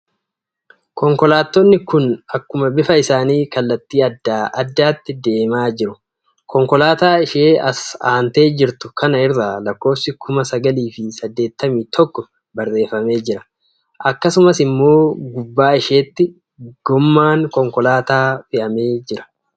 Konkolaatonni kun akkuma bifa isaanii kallattii adda addaatti deemaa jiru. Konkolaataa ishee as aantee jirtu kana irra lakkoofsi kuma sagalii fi saddeettamii tokko barreeffamee jira. akkasumas immoo gubbaa isheetti gommaan konkolaataa fe'amee jira.